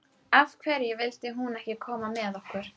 Af hverju vildi hún ekki koma með okkur?